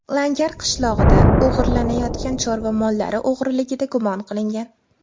Langar qishlog‘ida o‘g‘irlanayotgan chorva mollari o‘g‘riligida gumon qilingan.